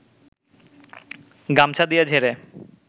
গামছা দিয়ে ঝেড়ে